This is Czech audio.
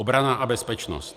Obrana a bezpečnost.